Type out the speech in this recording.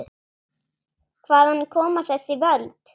Hvaðan koma þessi völd?